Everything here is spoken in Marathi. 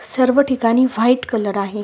सर्व ठिकाणी व्हाईट कलर आहे.